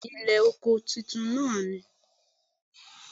Bẹ́ẹ̀ni Ilè oko titun náà ni